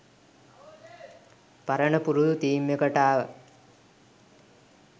පරණ පුරුදු තීම් එකට ආවා.